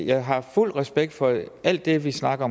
jeg har fuld respekt for alt det vi snakker